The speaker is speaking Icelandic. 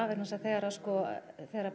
vegna þess að þegar þegar